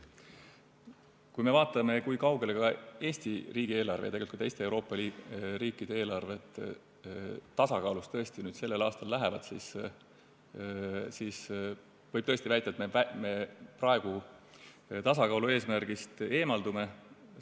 Tõesti, kui me vaatame, kui kaugele ka Eesti riigieelarve ja tegelikult ka teiste Euroopa riikide eelarved tasakaalust sellel aastal lähevad, siis võib väita, et me praegu tasakaalueesmärgist eemaldume.